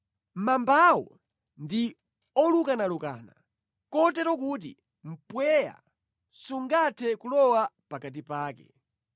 Mambawo ndi olukanalukana kotero kuti mpweya sungathe kulowa pakati pake.